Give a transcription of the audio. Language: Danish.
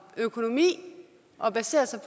økonomi og baserer sig